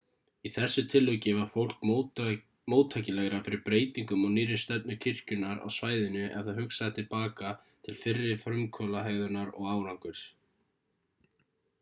í þessu tilviki var fólk móttækilegra fyrir breytingum og nýrri stefnu kirkjunnar á svæðinu ef það hugsaði til baka til fyrri frumkvöðlahegðunar og árangurs